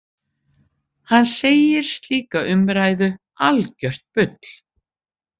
Hann segir slíka umræðu algjört bull